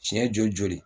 Tiɲɛ joli